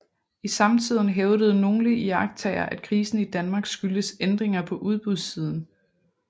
I samtiden hævdede nogle iagttagere at krisen i Danmark skyldtes ændringer på udbudssiden